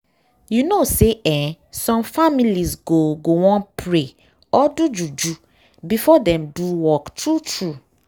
you know say eeh some families go go wan pray or do juju before dem do work true true.